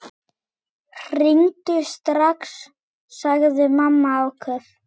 Hringdu strax, sagði mamma áköf.